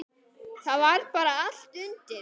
Það var bara allt undir.